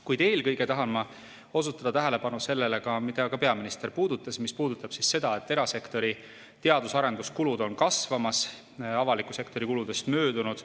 Kuid eelkõige tahan ma osutada tähelepanu sellele, millest ka peaminister, mis puudutab seda, et erasektori teadus- ja arenduskulud on kasvamas ning avaliku sektori kuludest möödunud.